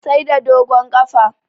Sai da dogon ƙafa